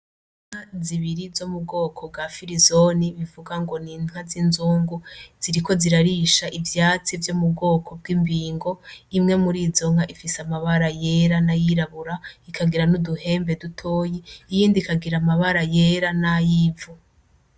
Inka zibiri z'omubwoko bwa firizone bivuga n'inka zizungu ziriko zirarisha ivyatsi vyo mubwoko bw'imbibingo imwe murizo nka ifise amabara yera n'ayirabura ikagira n'uduhembe dutoyi iyindi ikagira amabara yera nayivu